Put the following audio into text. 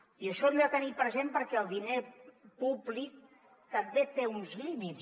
i això ho hem de tenir present perquè el diner públic també té uns límits